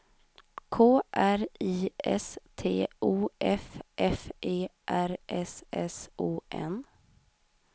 K R I S T O F F E R S S O N